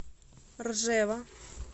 ржева